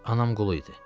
Anam qulu idi.